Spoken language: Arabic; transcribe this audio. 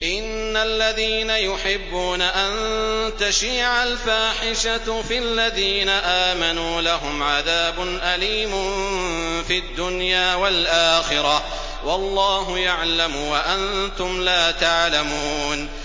إِنَّ الَّذِينَ يُحِبُّونَ أَن تَشِيعَ الْفَاحِشَةُ فِي الَّذِينَ آمَنُوا لَهُمْ عَذَابٌ أَلِيمٌ فِي الدُّنْيَا وَالْآخِرَةِ ۚ وَاللَّهُ يَعْلَمُ وَأَنتُمْ لَا تَعْلَمُونَ